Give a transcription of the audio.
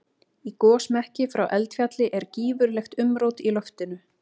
Í gosmekki frá eldfjalli er gífurlegt umrót í loftinu.